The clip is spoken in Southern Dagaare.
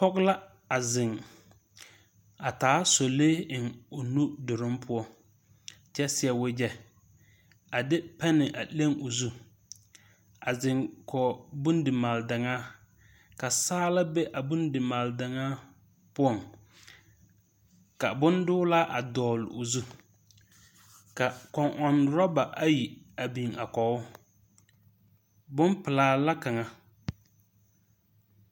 Pɔge la a zeŋ a taa solee eŋ o nudoroŋ poɔ, kyɛ seɛ wagyɛ a de pɛnne a leŋ o zu. A zeŋ kɔɔ bondimaal-daŋaa, ka saala be a bondimaal-daŋaa poɔŋ ka bondoola a dɔɔl o zu. Ka kɔŋ-ɔŋ rɔba ayi a biŋ a kɔɔ o. Bompelaa la kaŋa.